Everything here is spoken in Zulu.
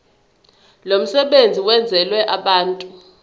lomsebenzi wenzelwe abantu